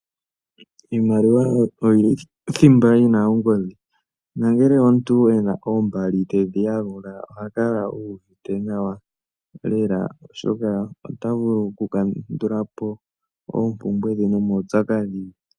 Iimaliwa oyo thimba yi na ongodhi, ongele omuntu ena oombali tedhi yalula oha kala uuvite nawa lela, oshoka ota vulu oku kandulapo oompumbwe dhe nomaupyakadhi.